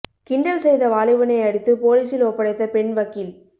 கிண்டல் செய்த வாலிபனை அடித்து போலீசில் ஒப்படைத்த பெண் வக்கீல்